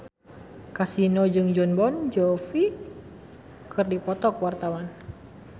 Kasino jeung Jon Bon Jovi keur dipoto ku wartawan